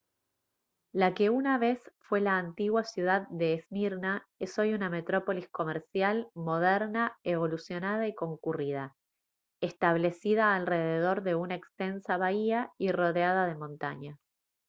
la que una vez fue la antigua ciudad de esmirna es hoy una metrópolis comercial moderna evolucionada y concurrida establecida alrededor de una extensa bahía y rodeada de montañas